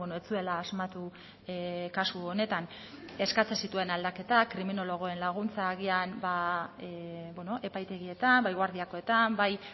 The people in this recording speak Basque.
ez zuela asmatu kasu honetan eskatzen zituen aldaketak kriminologoen laguntza agian epaitegietan bai guardiakoetan bai